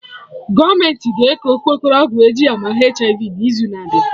Gọọmenti ga eke okpokoro ọgwụ eji ama HIV n'izu na abịa